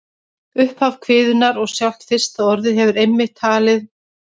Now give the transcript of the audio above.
Upphaf kviðunnar og sjálft fyrsta orðið hefur einmitt verið talið lýsandi fyrir meginefni hennar.